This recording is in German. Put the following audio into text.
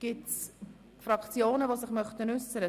Gibt es Einzelsprecher?